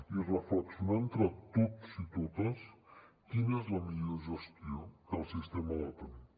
i reflexionar entre tots i totes quina és la millor gestió que el sistema ha de tenir